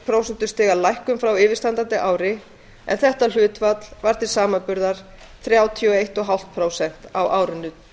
prósentustiga lækkun frá yfirstandandi ári en þetta hlutfall var til samanburðar þrjátíu og eins og hálft prósent á árinu